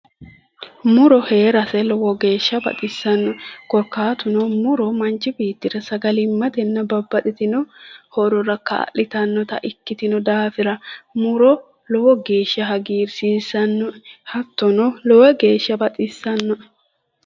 Muro heerase lowo geeshsha baxissanno korkaatuno muro manchi beettira sagalimmatenna babbaxxitino horora kaa'litannota ikkitino daafira muro lowo geeshsha hagiirsiissannoe hattono lowo geeshsha baxissannoe